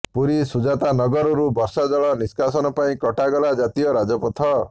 ପୁରୀ ସୁଜାତା ନଗରରୁ ବର୍ଷା ଜଳ ନିଷ୍କାସନ ପାଇଁ କଟାଗଲା ଜାତୀୟ ରାଜପଥ